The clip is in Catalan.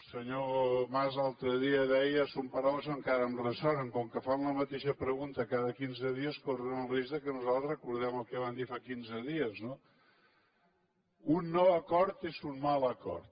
el senyor mas l’altre dia deia són paraules que encara em ressonen com que fan la mateixa pregunta cada quinze dies corren el risc que nosaltres recordem el que vam dir fa quinze dies no un no acord és un mal acord